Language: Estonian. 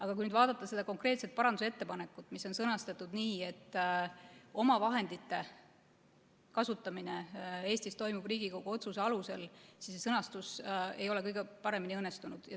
Aga kui nüüd vaadata seda konkreetset parandusettepanekut, mis on sõnastatud nii, et omavahendite kasutamine Eestis toimub Riigikogu otsuse alusel, siis see sõnastus ei ole kõige paremini õnnestunud.